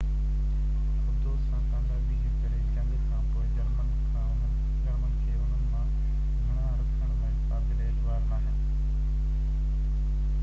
آبدوز سان ڪاميابي جي ڪري جنگ کان پوءِ جرمنن کي انهن مان گھڻا رکڻ لاءِ قابلِ اعتبار ناهن